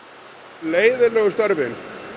leiðinlegu störfin